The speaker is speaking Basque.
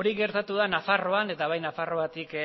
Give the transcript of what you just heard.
hori gertatu da nafarroan eta bai nafarroatik